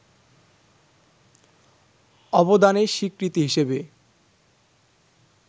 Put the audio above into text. অবদানের স্বীকৃতি হিসেবে